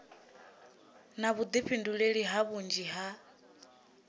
na vhuḓifhinduleli ha vhunzhi ha